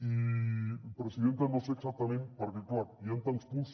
i presidenta no sé exactament perquè clar hi han tants punts